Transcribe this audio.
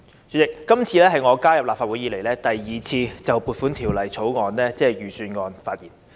主席，這次是我加入立法會後，第二次就撥款法案，即財政預算案發言。